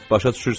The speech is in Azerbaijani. Başa düşürsüz?